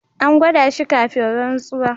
An gwada shi kafin rantsuwa.